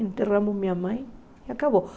Enterramos minha mãe e acabou.